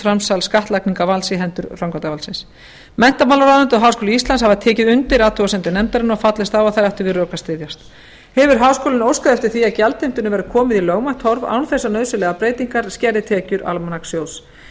framsal skattlagningarvalds í hendur framkvæmdarvaldsins menntamálaráðuneytið og háskóli íslands hafa tekið undir athugasemdir nefndarinnar og fallist á að þær eigi við rök að styðjast hefur háskólinn óskað eftir því að gjaldheimtunni verði komið í lögmætt horf án þess að nauðsynlegar breytingar skerði tekjur almanakssjóðs